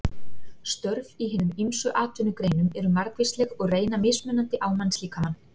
Störf í hinum ýmsu atvinnugreinum eru margvísleg og reyna mismunandi á mannslíkamann.